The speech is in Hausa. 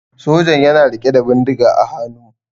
sojan yana rike da bindiga a haanu